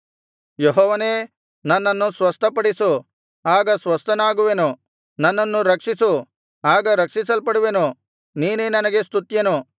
ಯೆಹೋವನೇ ನನ್ನನ್ನು ಸ್ವಸ್ಥಪಡಿಸು ಆಗ ಸ್ವಸ್ಥನಾಗುವೆನು ನನ್ನನ್ನು ರಕ್ಷಿಸು ಆಗ ರಕ್ಷಿಸಲ್ಪಡುವೆನು ನೀನೇ ನನಗೆ ಸ್ತುತ್ಯನು